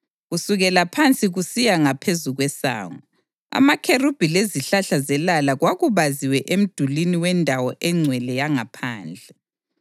Kusukela phansi kusiya ngaphezu kwesango, amakherubhi lezihlahla zelala kwakubaziwe emdulini wendawo engcwele yangaphandle.